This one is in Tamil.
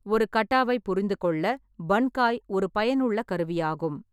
ஒரு கட்டாவைப் புரிந்து கொள்ள பன்காய் ஒரு பயனுள்ள கருவியாகும்.